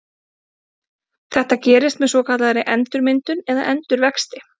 Þetta gerist með svokallaðri endurmyndun eða endurvexti.